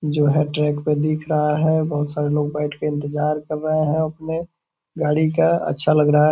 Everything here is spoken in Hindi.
यह ट्रैक पे दिख रहा है | बहुत सारे लोग बैठ के इंतजार कर रहे है गाड़ी का | अच्छा लग रहा है |